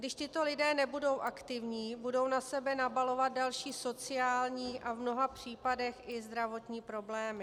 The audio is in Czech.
Když tito lidé nebudou aktivní, budou na sebe nabalovat další sociální a v mnoha případech i zdravotní problémy.